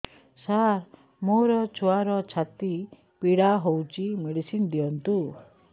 ସାର ମୋର ଛୁଆର ଛାତି ପୀଡା ହଉଚି ମେଡିସିନ ଦିଅନ୍ତୁ